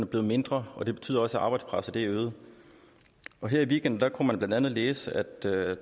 blevet mindre og det betyder også at arbejdspresset er øget her i weekenden kunne man blandt andet læse at